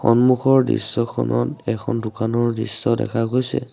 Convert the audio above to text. সন্মুখৰ দৃশ্যখনত এখন দোকানৰ দৃশ্য দেখা গৈছে।